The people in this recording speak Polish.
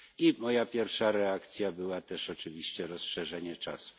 I moją pierwszą reakcją było też oczywiście rozszerzenie czasu.